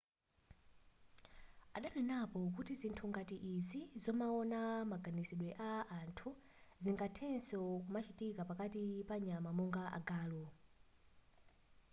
adanenapo kuti zinthu ngati izi zomaona maganizidwe a anthu zingathenso kumachitika pakati panyama monga agalu